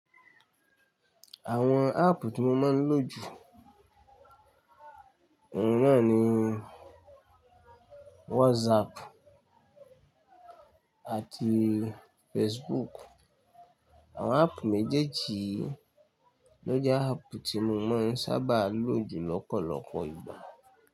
Àwọn áàpù tí mo máa ń lò jù, àwọn náà ni WhatsApp àti Facebook. Àwọn áàpù méjèèjì lọ́je áàpù tí mo máa ń sábà lò jù lọ́pọ̀lọpọ̀ ìgbà.